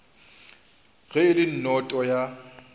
ge e le noto ya